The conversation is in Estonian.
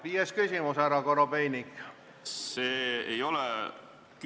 Viies küsimus, härra Korobeinik!